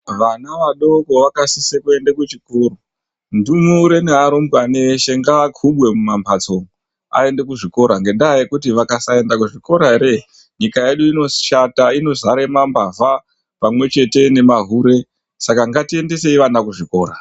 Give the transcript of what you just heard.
Vana vadoko vakasise kuende kuchikora ndumure nearumbwana eshe ngava kubwe mumamhatso umu aende kuzvikora ngenda yekuti vakasaenda kuzvikora ere nyika yedu inoshata inodzare mambavha pamwechete nemahure saka ngatiendesei ana kuzvikora.